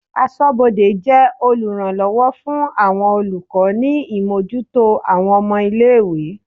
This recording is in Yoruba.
Aṣọ́bodè jẹ́ oluranlowo fún àwọn olùkọ́ ni imojuto àwọn ọmọ-ilé-ìwé.